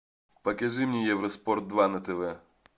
покажи мне евро спорт два на тв